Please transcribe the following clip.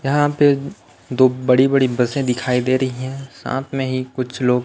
यहाँ पे दो बड़ी बड़ी बसें दिखाई दे रही हैं साथ मे ही कुछ लोग--